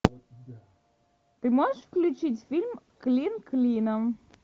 ты можешь включить фильм клин клином